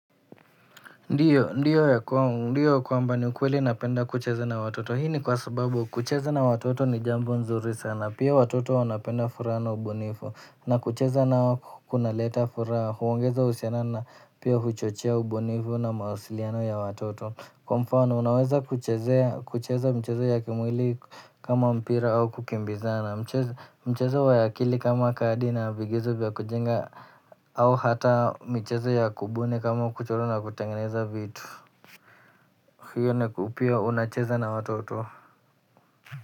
Ndio ya kwangu ndio kwamba ni kweli napenda kucheza na watoto hi ni kwasababu kucheza na watoto ni jambo nzuri sana pia watoto wanapenda furaha na ubunifu. Na kucheza nao kunaleta furaha huongeza usiano na pia huchochea ubunifu na mausiliano ya watoto. Kwa mfano unaweza kuchezea kucheza mchezo ya kimwili kama mpira au kukimbizana. Na mchezo wa akili kama kadi na vigezo vya kujenga au hata michezo ya kubuni kama kuchora na kutengeneza vitu hiyo nayo pia unacheza na watoto.